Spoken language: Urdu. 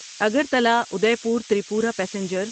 Agartala Udaipur Tripura passenger